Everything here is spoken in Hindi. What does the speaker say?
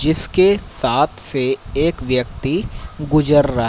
जिसके साथ से एक व्यक्ति गुजर रा--